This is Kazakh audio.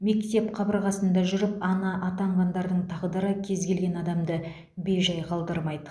мектеп қабырғасында жүріп ана атанғандардың тағдыры кез келген адамды бей жай қалдырмайды